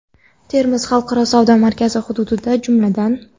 Termiz xalqaro savdo markazi hududida, jumladan:.